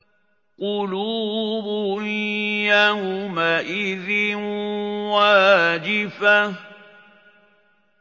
قُلُوبٌ يَوْمَئِذٍ وَاجِفَةٌ